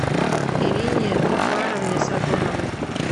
ирине зуфаровне сазоновой